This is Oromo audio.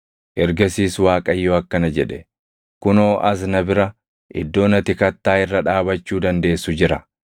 Ergasiis Waaqayyo akkana jedhe; “Kunoo as na bira iddoon ati kattaa irra dhaabachuu dandeessu jira.